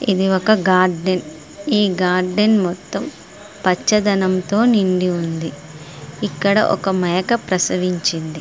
ఇది ఒక గార్డెన్ ఈ గార్డెన్ మొత్తం పచ్చదనం తో నిండి ఉంది. ఇక్కడ ఒక మేక ప్రసవించింది.